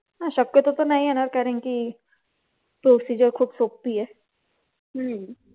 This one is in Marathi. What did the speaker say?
हा शक्यतो तर नाही येणार कारण की procedure खूप सोपी आहे.